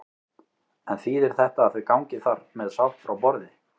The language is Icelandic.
En þýðir þetta að þau gangi þar með sátt frá borði?